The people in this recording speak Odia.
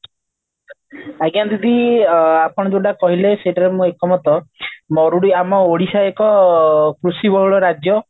ଆଜ୍ଞା ଦିଦି ଆପଣ ଯୋଉଟା କହିଲେ ସେଟା ରେ ମୁଁ ଏକମତ ମରୁଡି ଆମ ଓଡିଶାର ଏକ କୃଷି ବହୁତ ରାଜ୍ୟ